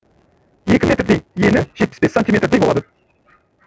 екі метрдей ені жетпіс бес сантиметрдей болады